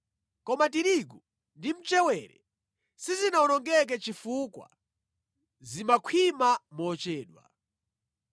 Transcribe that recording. Koma tirigu ndi mchewere sizinawonongeke chifukwa zimakhwima mochedwa.